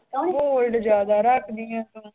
Hold ਜ਼ਿਆਦਾ ਰੱਖਦੀ ਹੈੈ